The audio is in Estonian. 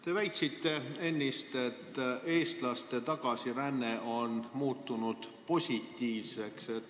Te väitsite ennist, et eestlaste tagasiränne on muutunud positiivseks.